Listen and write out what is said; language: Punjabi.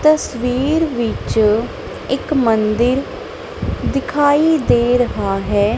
ਤਸਵੀਰ ਵਿੱਚ ਇੱਕ ਮੰਦਿਰ ਦਿਖਾਈ ਦੇ ਰੇਹਾ ਹੈ।